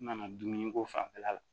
N nana dumuni ko fanfɛla la